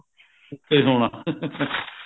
ਗੁੱਸੇ ਹੋਣਾ